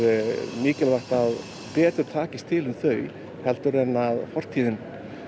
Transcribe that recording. mikilvægt að betur takist til um þau heldur en fortíðin